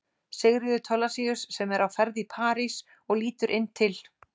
Sigríður Thorlacius, sem er á ferð í París og lítur inn til